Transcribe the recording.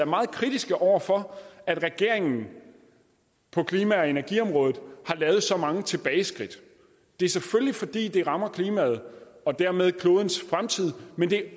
meget kritiske over for at regeringen på klima og energiområdet har lavet så mange tilbageskridt det er selvfølgelig fordi det rammer klimaet og dermed klodens fremtid men det